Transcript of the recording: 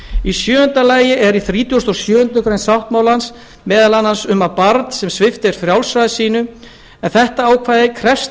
í sjöunda lagi er í þrítugasta og sjöundu greinar sáttmálans meðal annars um að barn sem svipt er frjálsræði sínu en þetta ákvæði krefst